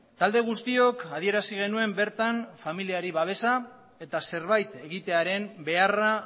talde guztiok adierazi genuen bertan familiari babesa eta zerbait egitearen beharra